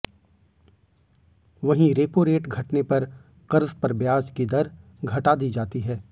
वहीं repo rate घटने पर कर्ज पर ब्याज की दर घटा दी जाती है